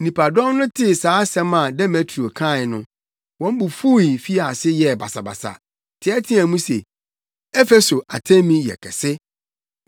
Nnipadɔm no tee saa asɛm a Demetrio kae no, wɔn bo fuw fii ase yɛɛ basabasa, teɛteɛɛ mu se, “Efeso Artemi yɛ kɛse!”